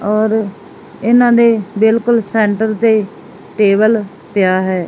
ਔਰ ਇਹਨਾਂ ਦੇ ਬਿਲਕੁਲ ਸੈਂਟਰ ਤੇ ਟੇਬਲ ਪਿਆ ਹੈ।